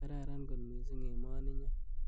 Kararan kot missing emoninyo.